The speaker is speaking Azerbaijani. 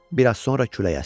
Bir az sonra külək əsdi.